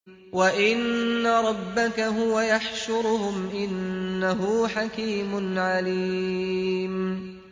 وَإِنَّ رَبَّكَ هُوَ يَحْشُرُهُمْ ۚ إِنَّهُ حَكِيمٌ عَلِيمٌ